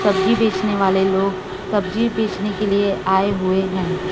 सब्जी बेचने वाले लोग सब्जी बेचने के लिए आए हुए हैं।